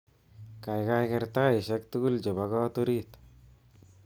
Kaikai ker taishek tugul chebo kot orit